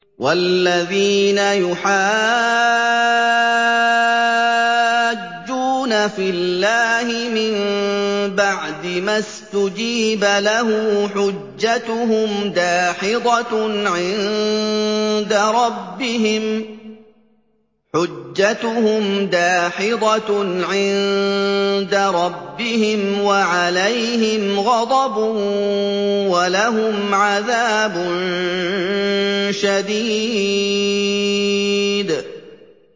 وَالَّذِينَ يُحَاجُّونَ فِي اللَّهِ مِن بَعْدِ مَا اسْتُجِيبَ لَهُ حُجَّتُهُمْ دَاحِضَةٌ عِندَ رَبِّهِمْ وَعَلَيْهِمْ غَضَبٌ وَلَهُمْ عَذَابٌ شَدِيدٌ